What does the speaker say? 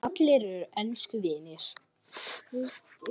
Allir eru elsku vinir.